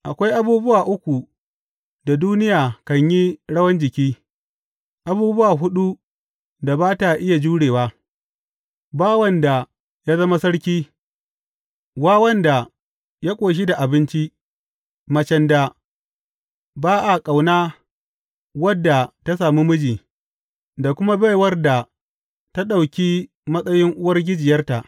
Akwai abubuwa uku da duniya kan yi rawan jiki, abubuwa huɗu da ba ta iya jurewa, bawan da ya zama sarki, wawan da ya ƙoshi da abinci, macen da ba a ƙauna wadda ta sami miji, da kuma baiwar da ta ɗauki matsayin uwargijiyarta.